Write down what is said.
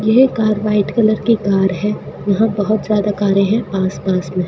यह car white colour की car है यहां बहोत ज्यादा कारे है पास पास में--